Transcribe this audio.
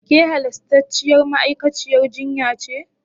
Ke halastarciyar ma'aikaciyar jinya ce?